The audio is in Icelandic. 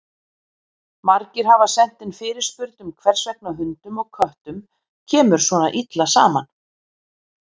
Margir hafa sent inn fyrirspurn um hvers vegna hundum og köttum kemur svona illa saman.